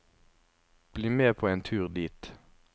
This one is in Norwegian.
Bli med på en tur dit.